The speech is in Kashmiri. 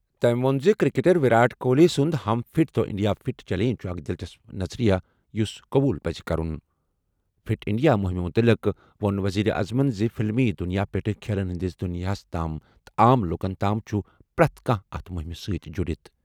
تٔمۍ ووٚن زِ کرکٹر ویرات کوہلی سُنٛد "ہم فٹ تو انڈیا فٹ" چیلنج چھُ اکھ دِلچسپ نظریہٕ یُس قبول پَزِ کرُن۔ فِٹ اِنٛڈیا مُہِمہِ مُتعلِق ووٚن ؤزیٖرِ اعظمن زِ فِلمی دُنیاہ پیٚٹھٕ کھیلن ہِنٛدِس دُنِیاہس تام تہٕ عام لُکن تام چُھ پرٛٮ۪تھ کانٛہہ اَتھ مُہِمہِ سۭتۍ جُڑِتھ ۔